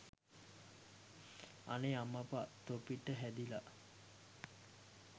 අනේ අම්මපා තොපිට හැදිලා